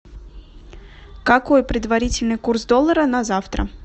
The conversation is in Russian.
какой предварительный курс доллара на завтра